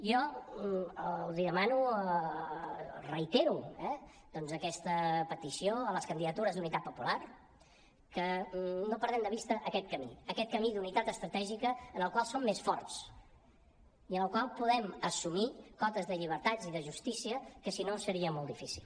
jo reitero eh doncs aquesta petició a les candidatures d’unitat popular que no perdem de vista aquest camí aquest camí d’unitat estratègica en el qual som més forts i en el qual podem assumir cotes de llibertats i de justícia que si no seria molt difícil